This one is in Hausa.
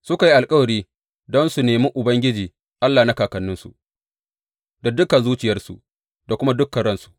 Suka yi alkawari don su nemi Ubangiji Allah na kakanninsu, da dukan zuciyarsu da kuma dukan ransu.